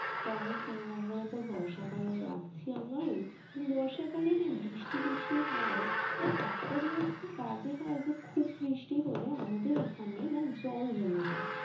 তো আমি তিন নম্বরে তো বর্ষাকাল রাখছি আমার বর্ষাকালে যে বৃষ্টি ট্রিষ্টি হয় এ একটা জিনিস খুব বাজে হয় যে খুব বৃষ্টি হলে আমদের এখানে না জল জমে যায়